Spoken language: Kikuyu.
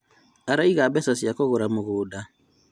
Araiga mbeca cia kũgũra mũgũnda